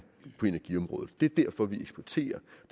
på energiområdet det er derfor vi eksporterer